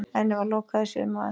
Henni var lokað í sumar.